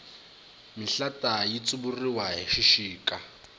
mihlata yi tsuvuriwa hi xixika